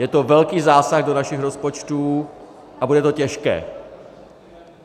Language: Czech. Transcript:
Je to velký zásah do našich rozpočtů a bude to těžké.